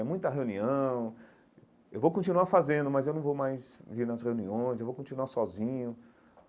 É muita reunião, eu vou continuar fazendo, mas eu não vou mais vir nas reuniões, eu vou continuar sozinho.